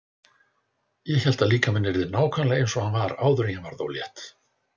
Ég hélt að líkaminn yrði nákvæmlega eins og hann var áður en ég varð ólétt.